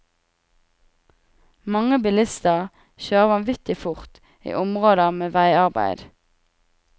Mange bilister kjører vanvittig fort i områder med veiarbeid.